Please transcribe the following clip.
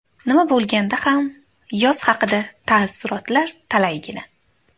Nima bo‘lganda ham, yoz haqida taassurotlar talaygina.